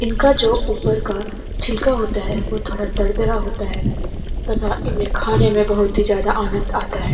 इनका जो ऊपर का छिलका होता है वो थोड़ा दरदरा होता है तथा इन्हें खाने में बहुत ही ज़्यादा आनंद आता है।